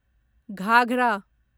घाघरा